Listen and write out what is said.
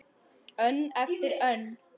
Önn eftir önn.